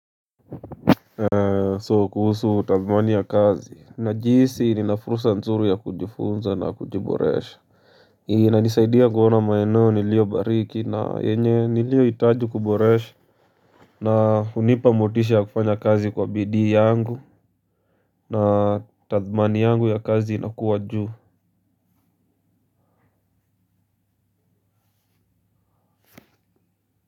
So kuhusu tathmini ya kazi najihisi nina fursa nzuri ya kujifunza na kujiboresha inanisaidia kuona maeneo nilio bariki na yenye nilio hitaji kuboresha. Na hunipa motisha ya kufanya kazi kwa bidii yangu na tathmani yangu ya kazi inakuwa juu.